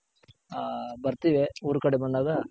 ಆ ಬರ್ತಿವಿ ಊರ್ ಕಡೆ ಬಂದಾಗ.